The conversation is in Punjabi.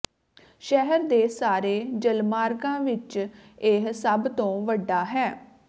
ਸ਼ਹਿਰ ਦੇ ਸਾਰੇ ਜਲਮਾਰਗਾਂ ਵਿਚ ਇਹ ਸਭ ਤੋਂ ਵੱਡਾ ਹੈ